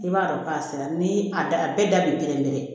I b'a dɔn k'a sera ni a da bɛɛ da bi kelen pe